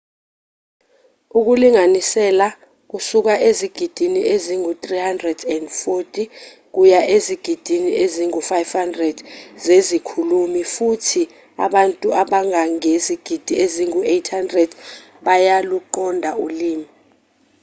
ukulinganisela kusuka ezigidini ezingu-340 kuya ezigidini ezingu-500 zezikhulumi futhi abantu abangangezigidi ezingu-800 bayaluqonda ulimi